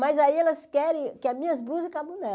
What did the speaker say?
Mas aí elas querem que as minhas blusas caibam